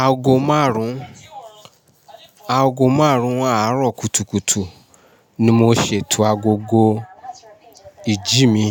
Aago márùn-ún, aago márùn-ún àárọ̀ kùtùkùtù ni mo ṣètò agogo ìjí mi.